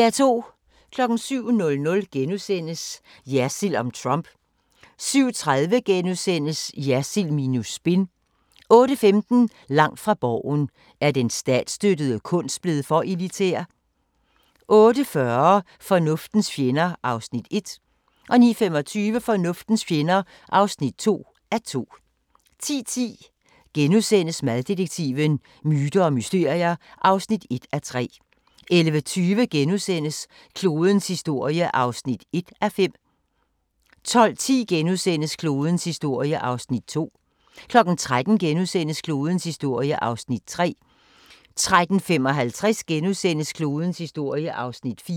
07:00: Jersild om Trump * 07:30: Jersild minus spin * 08:15: Langt fra Borgen: Er den statsstøttede kunst blevet for elitær? 08:40: Fornuftens fjender (1:2) 09:25: Fornuftens fjender (2:2) 10:10: Maddetektiven: Myter og mysterier (1:3)* 11:20: Klodens historie (1:5)* 12:10: Klodens historie (2:5)* 13:00: Klodens historie (3:5)* 13:55: Klodens historie (4:5)*